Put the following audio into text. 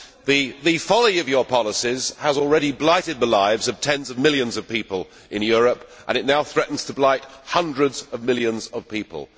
The folly of your policies has already blighted the lives of tens of millions of people in Europe and it now threatens to blight hundreds of millions of people.